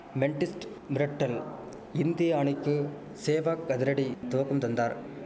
மெண்டிஸ்ட் மிரட்டல் இந்தியா அணிக்கு சேவக் அதிரடி துவக்கம் தந்தார்